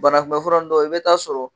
Banakunbɛfura ninnu dɔw i bɛ taa sɔrɔ.